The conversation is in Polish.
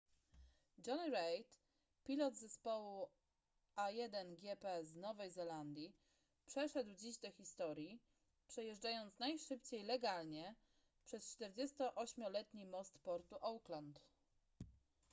jonny reid pilot zespołu a1gp z nowej zelandii przeszedł dziś do historii przejeżdżając najszybciej legalnie przez 48-letni most portu auckland